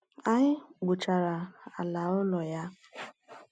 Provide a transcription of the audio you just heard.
Anyị kpochara ala ụlọ ya.